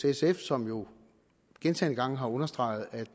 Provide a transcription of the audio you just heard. sf som jo gentagne gange har understreget at